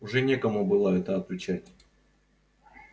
уже некому было это отвечать